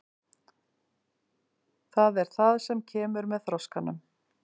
Það er það sem kemur með þroskanum.